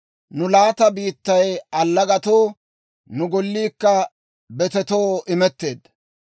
Nu laata biittay allagatoo, nu golliikka betetoo imetteedda.